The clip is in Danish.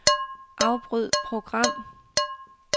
Afbryd program.